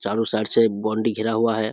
चारो साइड से बाउंड्री घेरा हुआ है।